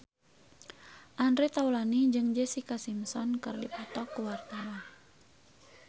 Andre Taulany jeung Jessica Simpson keur dipoto ku wartawan